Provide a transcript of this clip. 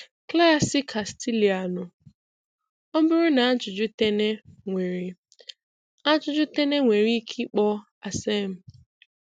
Klassị Castilianụ. Ọ bụrụ na ajụjụ Tene nwere ajụjụ Tene nwere ike ịkpọ ACCEM.